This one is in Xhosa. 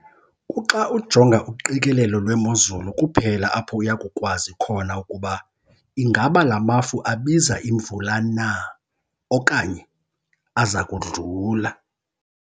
Kuxa ujonga uqikelelo lwemozulu kuphela apho uya kukwazi khona ukuba ingaba la mafu abika imvula na, okanye aza kudlula.